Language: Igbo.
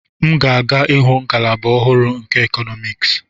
M ga-aga ịhụ ngalaba ọhụrụ nke Economics.